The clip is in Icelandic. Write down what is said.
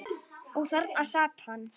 Og þarna sat hann.